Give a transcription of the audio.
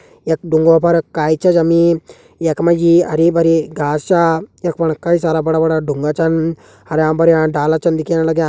यक ढूँगों फर काई छ जमी। यक मजी हरी भरी घास छ। यक फण कई सारा बड़ा बड़ा ढूँगा छन। हरयां भरयां डाला चन दिखेण लग्यां।